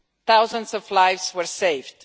Thousands of lives were saved.